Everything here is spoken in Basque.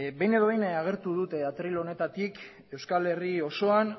behin edo behin agertu dut atril honetatik euskal herri osoan